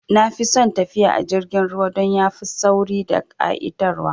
Nafi son tafiya a jirgin ruwa dan yafi sauri da ƙa'itar wa